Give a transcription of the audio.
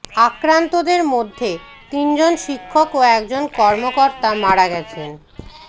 আক্রান্তদের মধ্যে তিনজন শিক্ষক ও একজন কর্মকর্তা মারা গেছেন